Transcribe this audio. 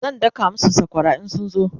zan daka masu sakwara in sun zo